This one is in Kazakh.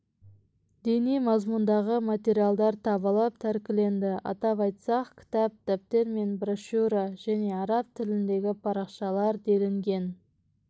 діни мазмұндағы материалдар табылып тәркіленді атап айтсақ кітап дәптер мен брошюра жәнеарап тіліндегі парақшалар делінген